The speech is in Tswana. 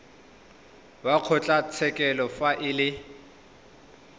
wa kgotlatshekelo fa e le